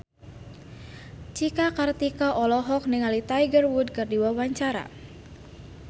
Cika Kartika olohok ningali Tiger Wood keur diwawancara